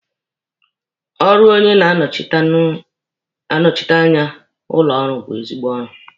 Ọrụ onye na-anọshite anya ụlọ ọrụ bụ ezigbo ọrụ.